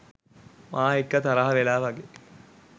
මා එක්ක තරහ වෙලා වගේ